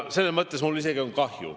Selles mõttes on mul isegi kahju.